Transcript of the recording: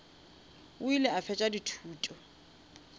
o ile a fetša dithuto